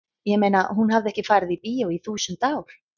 ég meina hún hafði ekki farið í bíó í þúsund ár.